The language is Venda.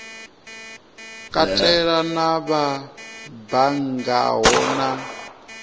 katela na vha banngaho na